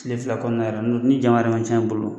Tile fila kɔnɔna yɛrɛ ni jama yɛrɛ man ca i bolo